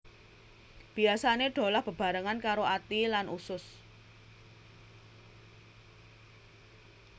Biasané dolah bebarengan karo ati lan usus